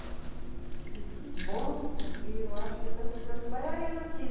Ele disse, que bom, porque eu acho que estão precisando de bailarino aqui.